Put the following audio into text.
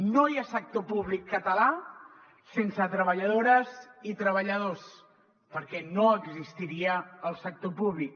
no hi ha sector públic català sense treballadores i treballadors perquè no existiria el sector públic